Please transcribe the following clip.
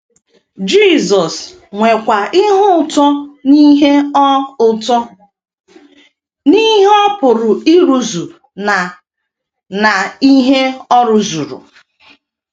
Jisọs nwekwa ihe ụtọ n’ihe ọ ụtọ n’ihe ọ pụrụ ịrụzu na n’ihe ọ rụzuru.